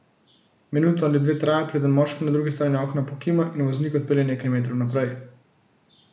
Minuto ali dve traja, preden moški na drugi strani okna pokima in voznik odpelje nekaj metrov naprej.